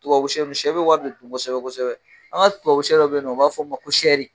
Tubabu sɛ dun sɛ be wari de dun kosɛbɛ-kosɛbɛ. An ŋa tubabu sɛ dɔ be ye nɔ u b'a fɔ m ma ko sɛri